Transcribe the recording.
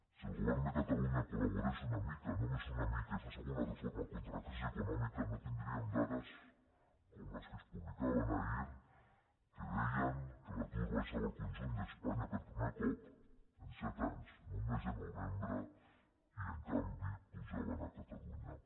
si el govern de catalunya collaborés una mica només una mica i fes alguna reforma contra la crisi econòmica no tindríem dades com les que es publicaven ahir que deien que l’atur baixava al conjunt d’espanya per primer cop en set anys en un mes de novembre i en canvi pujava a catalunya